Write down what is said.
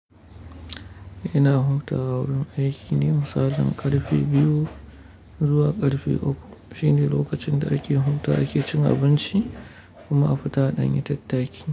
Ina hutawa, a wurin aiki ne, misalin karfe biyu zuwa karfe uku shine lokacin da ake hutawa, ake cin abinci kuma a fita a danyi tattaki.